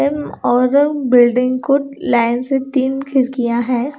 इन ऑरन बिल्डिंग को लाइन से तीन खिड़कियां है।